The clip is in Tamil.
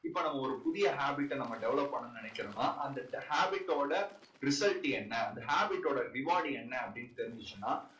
இப்போ நம்ம ஒரு புதிய habit அ நம்ம develop பண்ணணும்னு நினைக்கறோம்னா அந்த habit ஓட habit டோட result என்ன? அந்த habit டோட reward என்ன அப்படீன்னு தெரிஞ்சுச்சுன்னா